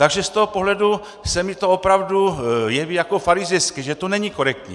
Takže z toho pohledu se mi to opravdu jeví jako farizejství, že to není korektní.